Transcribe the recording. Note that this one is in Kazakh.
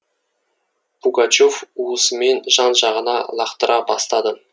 пугачев уысымен жан жағына лақтыра бастады